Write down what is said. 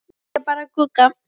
Segja bara Gugga.